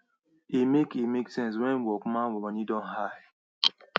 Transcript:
e make e make sense when workman money don high